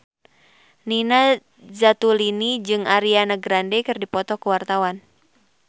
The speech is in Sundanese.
Nina Zatulini jeung Ariana Grande keur dipoto ku wartawan